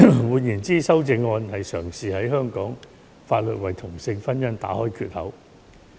換言之，修正案嘗試在香港法律為同性婚姻打開缺口。